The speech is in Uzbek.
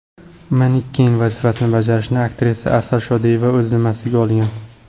Maniken vazifasini bajarishni aktrisa Asal Shodiyeva o‘z zimmasiga olgan.